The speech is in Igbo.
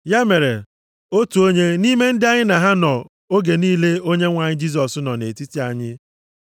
Ya mere, otu onye nʼime ndị anyị na ha nọ nʼoge niile Onyenwe anyị Jisọs nọ nʼetiti anyị,